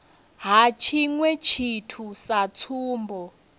ha tshiṅwe tshithu sa tsumbo